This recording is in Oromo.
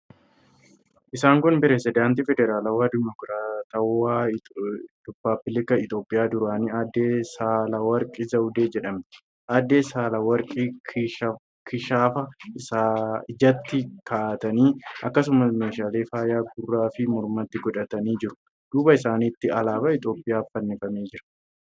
Isaan kun pirezidaantii Federaalawaa Dimokiraatawaa Rippaabilika Itiyoophiyaa duraanii Aadde Saahilawork Zawudee jedhamti. Aadde Saahilework kishaafa ijatti kaa'atanii, akkasumas meeshaalee faayaa gurraa fi mormatti godhatanii jiru. Duuba isaaniitiin alaabaa Itiyoophiyaatu fannifamee jira.